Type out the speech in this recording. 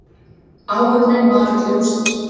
Áhöfnin var öll rússnesk